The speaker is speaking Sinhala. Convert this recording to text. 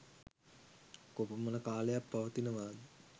කොපමණ කාලයක් පවතිනවා ද?